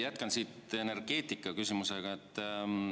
Jätkan siit energeetikaküsimusega.